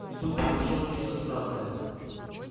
и тут произошло нечто странное